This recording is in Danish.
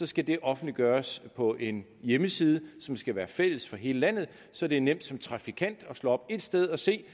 skal det offentliggøres på en hjemmeside som skal være fælles for hele landet så det er nemt som trafikant at slå op et sted og se